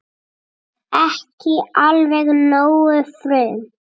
Ekki alveg nógu frum